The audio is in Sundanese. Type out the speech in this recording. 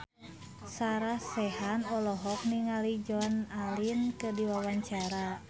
Sarah Sechan olohok ningali Joan Allen keur diwawancara